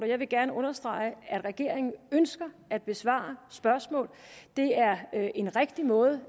jeg vil gerne understrege at regeringen ønsker at besvare spørgsmål det er en rigtig måde